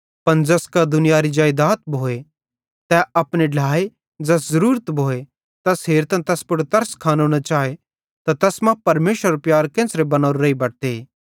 पन ज़ैस कां दुनियारी जेइदाद भोए त तै अपने ढ्लाए ज़ैस ज़रूरत भोए तैस हेरतां तैस पुड़ तरस खानो न चाए त तैस मां परमेशरेरो प्यार केन्च़रे बनोरो रेइ बटते